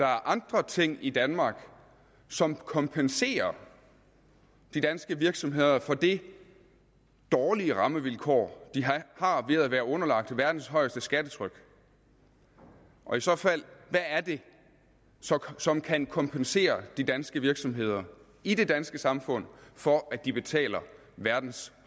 andre ting i danmark som kompenserer de danske virksomheder for det dårlige rammevilkår de har ved at være underlagt verdens højeste skattetryk og i så fald hvad er det som kan kompensere de danske virksomheder i det danske samfund for at de betaler verdens